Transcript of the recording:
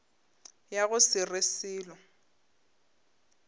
ya go se re selo